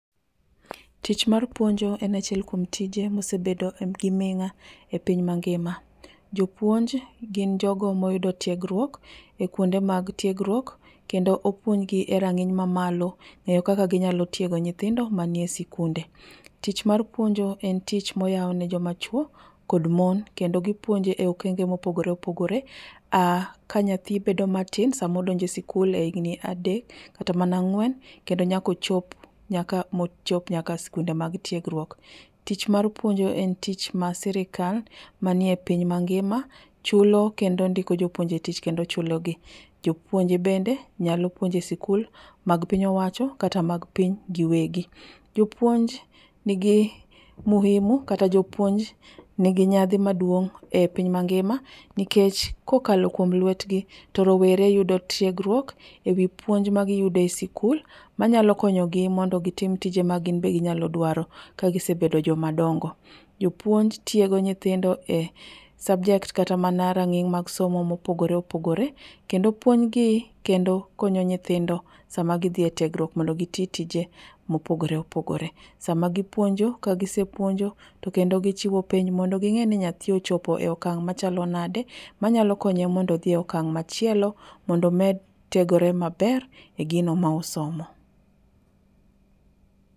Tich mar puonjo en achiel kuom tije mosebedo gi ming'a e piny mangima. Jopuonj gin jogo moyudo tiegruok e kuonde mag tiegruok kendo opuonjgi e rang'iny mamalo ng'eyo kaka ginyalo tiego nyithindo manie sikunde. Tich mar puonjo en tich moyaune joma chuo kod mon kendo gipuonjo e okenge mopogore opogore, ka nyathi bedo matin samodonje sikul e igni adek kata mana ang'uen kendo nyakochop, mochop nyaka skunde mag tiegruok. Tich mar puonjo en tich mar sirkal manie piny mangima chulo kendo ndiko jopuonje tich kendo chulogi. Jopuonje bende nyalo puonje sikul mag piny owacho kata mag piny giwegi. Jopuonj nigi muhimu kata japuonj nigi nyadhi maduong' e piny mangima, nikech kokalo kuom luetgi to rowere yudo tiegruok e wii puonj magiyudo e sikul manyalo konyogi mondo gitim tije ma ginbe ginyalo dwaro ka gisebedo jomadongo. Jopuonj tiego nyithindo e subject kata mana rang'iny mag somo mopogore opogore kendo puonjgi kendo konyo nyithindo sama gidhie tiegruok mondo gitii tije mopogore opogore. Sama gipuonjo, ka gisepuonjo, to kendo gichiwo penj mondo ging'eni nyathi ochopo e akang' machalo nade manyalo konye mondo odhie akang' machielo mondo omed tiegore maber e gino ma osomo.